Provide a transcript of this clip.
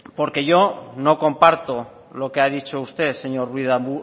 porque yo no comparto lo que ha dicho usted señor ruiz de